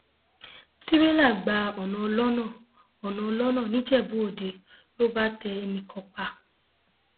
tìrẹlà gba ọnà ọlọnà ọnà ọlọnà nìjẹbúòde ló bá tẹ ẹnì kan pa